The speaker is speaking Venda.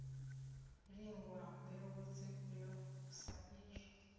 lingwa mbeu dzifhio sa izwo